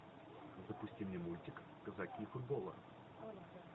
запусти мне мультик казаки футбола